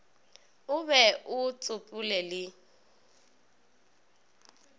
o be o tsopole le